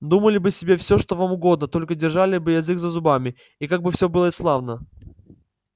думали бы себе всё что вам угодно только держали бы язык за зубами и как бы всё было славно